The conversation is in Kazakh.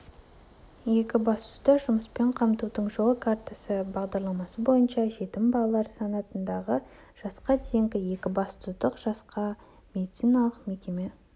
екібастұзда жұмыспен қамтудың жол картасы бағдарламасы бойынша жетім балалар санатындағы жасқа дейінгі екібастұздық жасқа медициналық мекеме